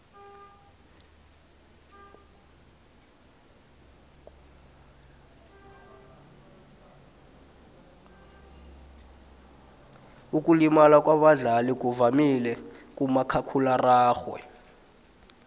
ukulimala kwabadlali kuvamile kumakhakhulararhwe